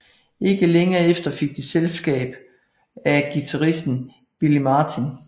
Ikke længe efter fik de selskab af guitaristen Billy Martin